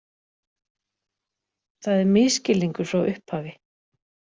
Það er misskilningur frá upphafi